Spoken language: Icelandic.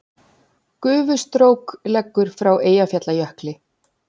Gufustrók leggur frá Eyjafjallajökli